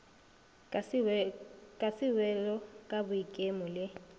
ka sewelo ka boikemo le